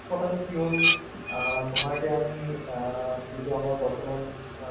সেইটো মানে আমাৰ আহ মা দেউতা হঁতো মানে তোমাৰ যেতিয়া